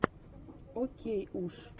окейуш